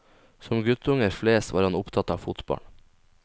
Som guttunger flest var han opptatt av fotball.